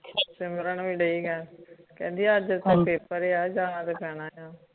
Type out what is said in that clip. ਸਿਮਰਨ ਭੀ ਠੀਕ ਹੈ ਕਹਿੰਦੀ ਅੱਜ ਤਾ ਪੇਪਰ ਹੈ ਜਾਣਾ ਤੋਂ ਪੈਣਾ ਆ